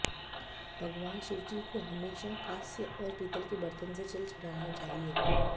भगवान शिवजी को हमेशा कांस्य और पीतल के बर्तन से जल चढ़ाना चाहिए